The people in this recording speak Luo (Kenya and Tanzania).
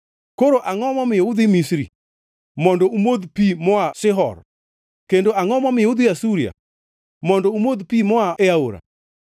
Koro angʼo momiyo udhi Misri mondo umodh pi moa Shihor? Kendo angʼo momiyo udhi Asuria mondo umodh pi moa e Aora?